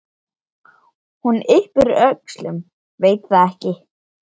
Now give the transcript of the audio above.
Hún yppir öxlum, veit það ekki.